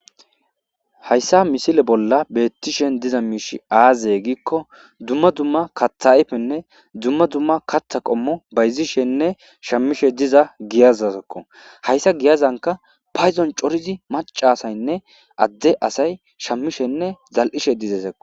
hayssa misile bolla beettishen diza miish aaze giikko dumma dumma katha ayfenne dumma dumma katha qommo bayzishenne shammishe diza giyazazekko hayssa giyazanka payzon corizi macasaynne adde asay shammishenne zal7ishe dizesekko